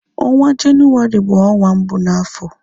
Ọnwa jenuwari bu onwa mbụ na afọ